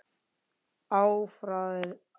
Afráðið var að